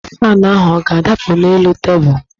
Faanụ ahụ ọ ga-adapụ n'elu tebụlụ?